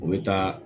U bɛ taa